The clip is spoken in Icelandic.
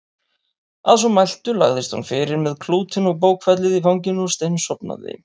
Að svo mæltu lagðist hún fyrir með klútinn og bókfellið í fanginu og steinsofnaði.